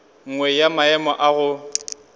nngwe ya maemo a go